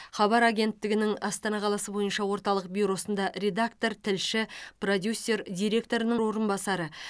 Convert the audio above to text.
хабар агенттігінің астана қаласы бойынша орталық бюросында редактор тілші продюсер директор орынбасары